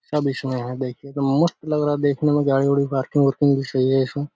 सब इसमे है देखिए क्या मस्त लग रहा है देखने में गाड़ी-उड़ी पार्किंग उर्किंग भी सही है इसमे।